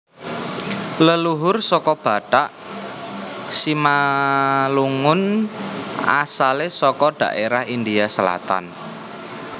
Leluhur suku Batak Simalungun asalé saka dhaérah India Selatan